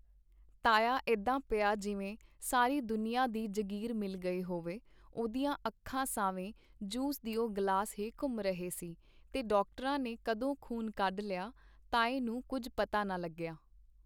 ਤਾਇਆ ਇਦਾ ਪਿਆ ਜਿਵੇਂ ਸਾਰੀ ਦੁਨੀਆ ਦੀ ਜਗੀਰ ਮਿਲ ਗਈ ਹੋਵੇ ਉਹਦੀਆ ਅੱਖਾਂ ਸਾਵੇਂ ਜੂਸ ਦਿਓ ਗਲਾਸ ਹੀ ਘੁੰਮ ਰਹੇ ਸੀ ਤੇ ਡਾਕਟਰਾਂ ਨੇ ਕਦੋਂ ਖ਼ੂਨ ਕੱਢ ਲਿਆ ਤਾਏ ਨੂੰ ਕੁੱਝ ਪਤਾ ਨਾ ਲੱਗਿਆ.